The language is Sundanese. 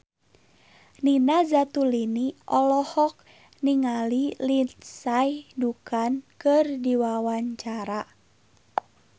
Nina Zatulini olohok ningali Lindsay Ducan keur diwawancara